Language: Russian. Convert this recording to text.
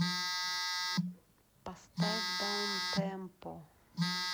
поставь даунтемпо